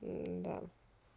м-да